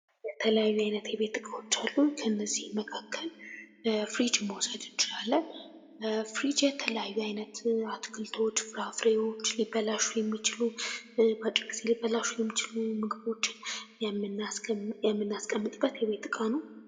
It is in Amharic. የተለያዩ አይነት የቤት እቃዎች አሉ። ከነዚህም መካከል ፍሪጅን መውሰድ እንችላለን። ፍሪጅ የተለያዩ አይነት አትክልቶች፣ ፍራፍሬዎች፣ ሊበላሹ የሚችሉ ምግቦችን የምናስቀምጥበት የቤት ዕቃ ነው።